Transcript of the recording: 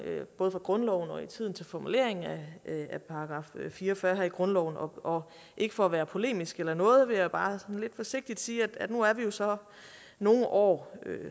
både i grundloven og i tiden til formuleringen af § fire og fyrre her i grundloven og ikke for at være polemisk eller noget vil jeg bare sådan lidt forsigtigt sige at nu er vi jo så nogle år